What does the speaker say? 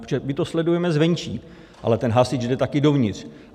Protože my to sledujeme zvenčí, ale ten hasič jde taky dovnitř.